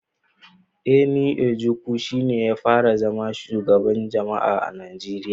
Eni Njoku shi ya fara zama shugaban jami'a a Najeriya